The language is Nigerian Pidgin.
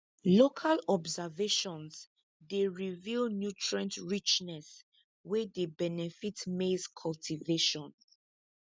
local observations dey reveal nutrient richness wey dey benefit maize cultivation